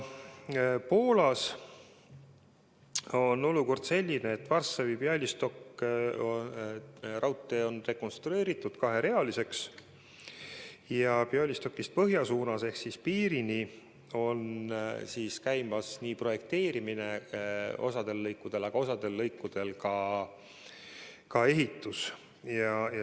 Poolas on olukord selline, et Varssavi–Bialystoki raudtee on rekonstrueeritud kaherealiseks ja Bialystokist põhja suunas ehk piirini on osal lõikudel käimas projekteerimine, aga osal lõikudel ka ehitus.